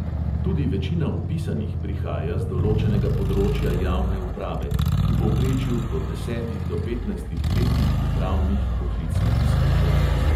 Tudi večina vpisanih prihaja z določenega področja javne uprave, v povprečju po desetih do petnajstih letih upravnih poklicnih izkušenj.